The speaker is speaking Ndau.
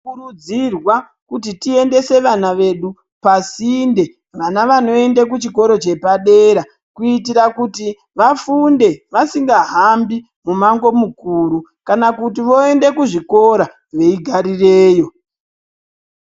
Tinokurudzirwa kuti tiendese vana vedu pasinde vana vanoende kuchikoro chepadera kuitira kuti vafunde vasingahambi mumango mukuru, kana kuti voende kuzvikora veigarireyo.